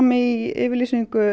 í yfirlýsingu